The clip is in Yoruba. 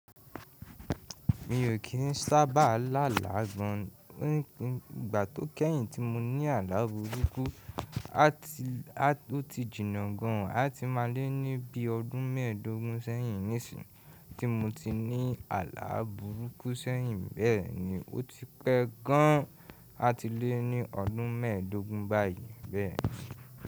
Mi ò kí ń sábà lálàgbọn. Ìgbà tó kẹ́yìn tí mo ní àlá burúkú, ati ó ti jìnà gan àti má lé ní bí i ọdún mẹ́ẹ̀dógún sẹ́yìn. Nísìń, tí mo ti ní àlá burúkú sẹ́yìn bẹ́ẹ̀ ni, ó ti pẹ́ gaan àti lé ní ọdún mẹ́ẹ̀dógún báyìí bẹ́ẹ̀.